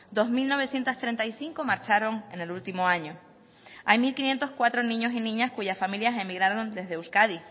dos mil novecientos treinta y cinco marcharon en el último año hay mil quinientos cuatro niños y niñas cuya familias emigraron desde euskadi